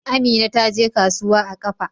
Amina ta je kasuwa a ƙafa.